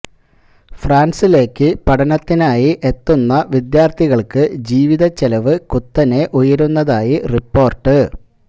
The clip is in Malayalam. ഫ്രാൻസിലേക്ക് പഠനത്തിനായി എത്തുന്ന വിദ്യാർത്ഥികൾക്ക് ജീവിത ചെലവ് കുത്തിനെ ഉയരുന്നതായി റിപ്പോർട്ട്